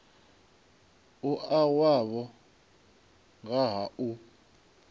mua wavho nga ha u